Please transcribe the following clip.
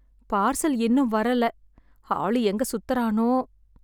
Parcel இன்னும் வரல. ஆளு எங்க சுத்தறானோ?